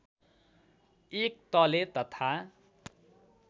एक तले तथा